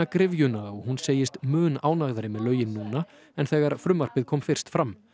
gryfjuna og hún segist mun ánægðari með lögin núna en þegar frumvarpið kom fyrst fram